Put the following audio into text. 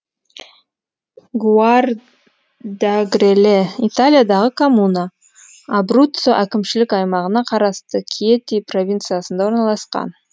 гуардьагреле италиядағы коммуна абруццо әкімшілік аймағына қарасты кьети провинциясында орналасқан